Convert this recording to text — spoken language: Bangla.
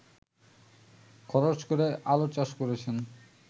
খরচ করে আলুচাষ করেছেন